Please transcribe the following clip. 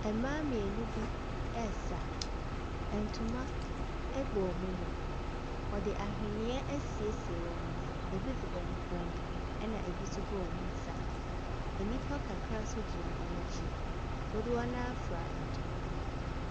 Mmaa mmienu bi resa. Ntoma bɔ wɔn mu. Wɔde ahweneɛ asiesie wɔn ho. Ɛbi gu wɔn kɔn mu, ana ɛbi nso gu wɔn nsa. Nnipa kakra nso gyina wɔn akyi. Dodoɔ no ara fira ntoma.